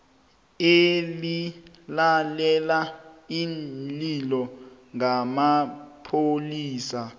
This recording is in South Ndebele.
elilalela iinlilo ngamapholisa